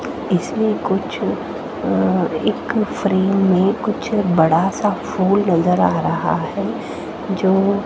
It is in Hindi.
इसलिए कुछ अं एक फ्रेंम में कुछ बड़ा सा फूल नजर आ रहा है जो--